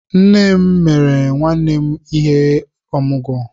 Nné m mere nwanne m ihe ọmụgwọ